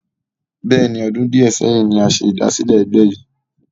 Bẹ́ẹ̀ni, ọdún di ẹ sẹ́yìn ni a ṣe ìdásílẹ́ egbe yi